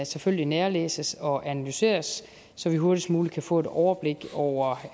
selvfølgelig nærlæses og analyseres så vi hurtigst muligt kan få et overblik over